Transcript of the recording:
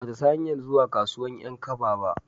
Ba ta san hanyar zuwa kasuwan 'yan kaba ba